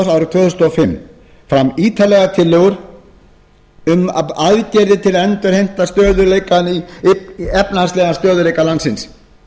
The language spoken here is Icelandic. þúsund og fimm fram ítarlegar tillögur um aðgerðir til að endurheimta efnahagslegan stöðugleika landsins